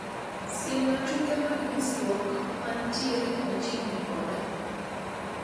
Siemna tuke mag nyisrwok mantiere machiegni koda